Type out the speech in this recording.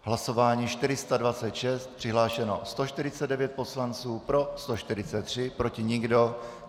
Hlasování 426, přihlášeno 149 poslanců, pro 143, proti nikdo.